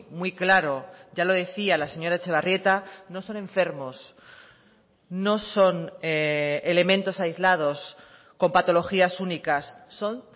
muy claro ya lo decía la señora etxebarrieta no son enfermos no son elementos aislados con patologías únicas son